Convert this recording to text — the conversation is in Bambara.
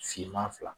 Finman fila